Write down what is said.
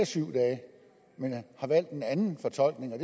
syv dage men har valgt en anden fortolkning